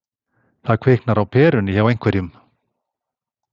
Það kviknar á perunni hjá einhverjum